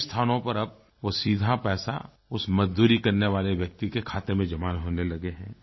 कई स्थानों पर अब वो सीधा पैसा उस मजदूरी करने वाले व्यक्ति के खाते में जमा होने लगे हैं